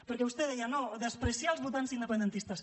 perquè vostè deia no menysprear els votants independentistes